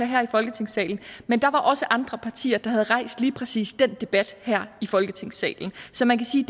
her i folketingssalen men der var også andre partier der havde rejst lige præcis den debat her i folketingssalen så man kan sige